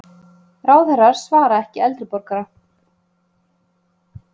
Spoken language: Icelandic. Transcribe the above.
Ráðherrar svara ekki eldri borgara